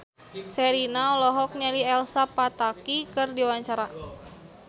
Sherina olohok ningali Elsa Pataky keur diwawancara